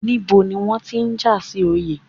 Níbo ni wọ́n ti ń jà sí Oyè?